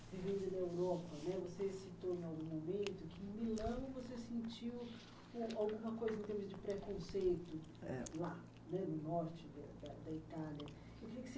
vivendo na Europa, né, você citou em algum momento que em Milão você sentiu, né, alguma coisa em termos de preconceito. É. Lá, né, no norte da da da Itália. E eu queria que você